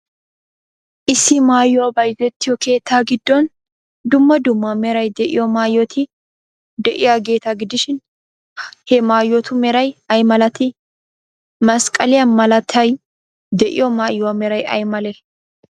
Issi maayoy bayzzettiyoo keettaa giddon dumma dumma meray de'iyo maayoti de'iyaageeta gidishin, he maayotu meray ay malatii? Masqqaliya malaatay de'iyo maayuwaa meray ay malee?